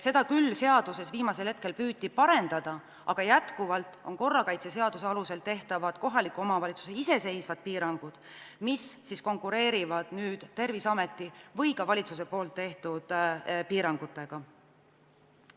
Seda püüti viimasel hetkel küll seaduses parandada, aga korrakaitseseaduse alusel kohaliku omavalitsuse seatavad iseseisvad piirangud konkureerivad nüüd Terviseameti või ka valitsuse seatavate piirangutega.